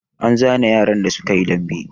An zane yaran da suka yi dambe?